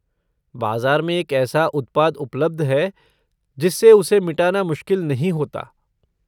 बाजा़ार में एक ऐसा उत्पाद उपलब्ध है जिससे उसे मिटाना मुश्किल नहीं होता।